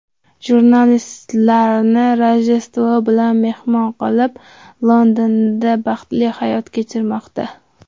Jurnalistlarni Rojdestvo bilan mehmon qilib, Londonda baxtli hayot kechirmoqda.